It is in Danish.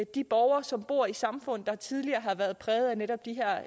de borgere som bor i samfund der tidligere har været præget af netop de